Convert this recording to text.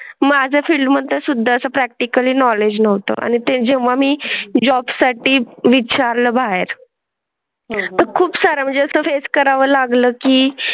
माझ्या फील्ड मध्ये सुद्ध प्रॅक्टिकल नॉलेज नव्हतं आणि ते जेव्हा मी जॉब साठी विचारलं बाहेर खूप सार म्हणजे असं फेस करावं लागलं की.